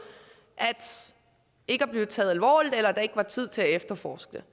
ikke at blive taget alvorligt eller hvis der ikke var tid til at efterforske